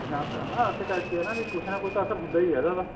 ਜਾਂਦਾ ਹਨਾ ਇਸੇ ਕਰਕੇ ਹਨਾ ਵੀ ਕੁੱਝ ਨਾ ਕੁੱਝ ਤਾਂ ਅਸਰ ਹੁੰਦਾ ਈ ਏ ਇਹਨਾ ਦਾ